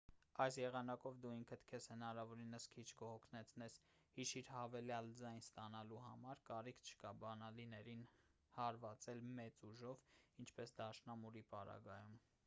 այս եղանակով դու ինքդ քեզ հնարավորինս քիչ կհոգնեցնես հիշիր հավելյալ ձայն ստանալու համար կարիք չկա բանալիներին հարվածել մեծ ուժով ինչպես դաշնամուրի պարագայում